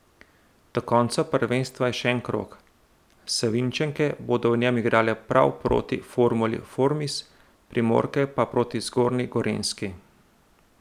Do konca prvenstva je še en krog, Savinjčanke bodo v njem igrale prav proti Formuli Formis, Primorke pa proti Zgornji Gorenjski.